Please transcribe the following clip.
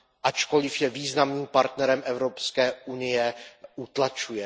ačkoliv je významným partnerem Evropské unie, utlačuje.